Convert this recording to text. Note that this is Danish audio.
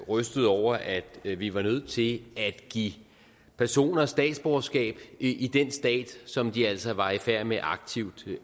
rystet over at at vi var nødt til at give personer statsborgerskab i den stat som de altså var i færd med aktivt